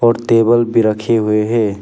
और टेबल भी रखे हुए है।